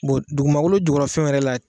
Bon dugumankolo jugɔrɔ fɛnw wɛrɛ la